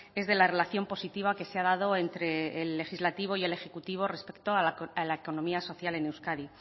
es de la relación positiva que se ha dado entre el legislativo y el ejecutivo respecto a la economía social en euskadi